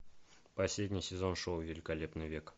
последний сезон шоу великолепный век